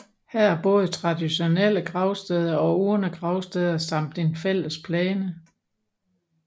Her er både traditionelle gravsteder og urnegravsteder samt en fællesplæne